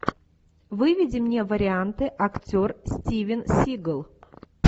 выведи мне варианты актер стивен сигал